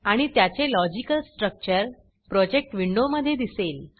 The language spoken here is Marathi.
आणि त्याचे लॉजिकल स्ट्रक्चर प्रोजेक्ट विंडोमधे दिसेल